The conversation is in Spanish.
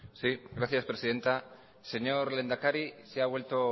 gracias presidenta señor lehendakari se ha vuelto